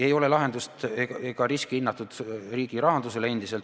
Ei ole lahendust ega ole endiselt hinnatud riski riigi rahandusele.